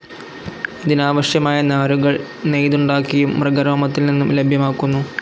ഇതിനാവശ്യമായ നാരുകൾ നെയ്തുണ്ടാക്കിയും, മൃഗരോമത്തിൽ നിന്നും ലഭ്യമാക്കുന്നു.